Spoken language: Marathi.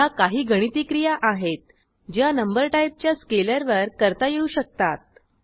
ह्या काही गणिती क्रिया आहेत ज्या नंबर टाईपच्या स्केलरवर करता येऊ शकतात